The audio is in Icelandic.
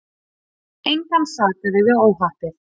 Engan sakaði við óhappið.